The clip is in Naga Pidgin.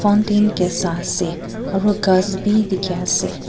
fountain kae saase aru ghas bi dikhiase.